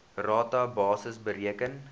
rata basis bereken